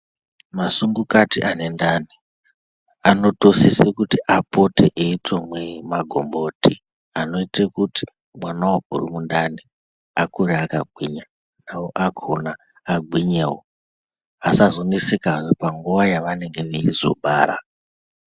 Masungukati ane ndani vanosisa kuita veimwa magumboti anoita kuti mwana uri mundani akure akagwinya navo vakona vagwinyewo vasazoneseka panguva yavanenge veibara.